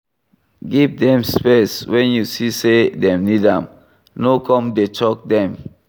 Give dem space when you see sey dem need am, no come dey choke dem